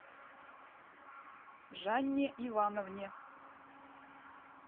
жанне ивановне